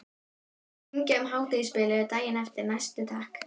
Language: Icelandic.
Ég mátti hringja um hádegisbilið daginn eftir, næsti takk!